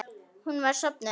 Hún var sofnuð.